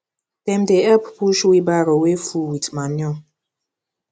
dem dey help push wheelbarrow wey full with manure